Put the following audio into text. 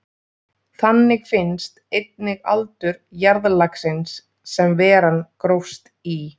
Þannig finnst einnig aldur jarðlagsins sem veran grófst í.